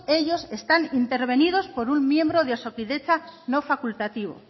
ellos están intervenidos por un miembro de osakidetza no facultativo